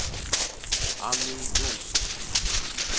Annie Jonsson